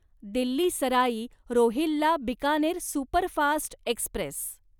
Delhi Sarai Rohilla Bikaner superfast Express